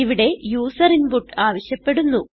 ഇവിടെ user input ആവശ്യപ്പെടുന്നു